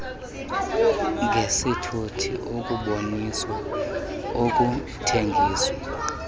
ngesithuthi ukuboniswa ukuthengiswa